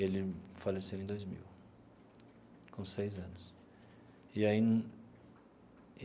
Ele faleceu em dois mil, com seis anos e aí.